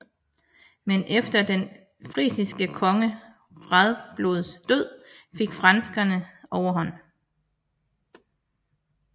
Men efter den frisiske konge Radbods død fik frankerne overhånd